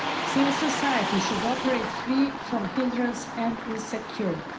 Civil society should operate free from hindrance and insecurity.